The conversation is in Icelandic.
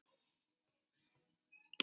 Þess vegna erum við þarna.